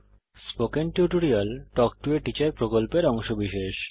spoken tutorial talk to a teacher প্রকল্পের অংশবিশেষ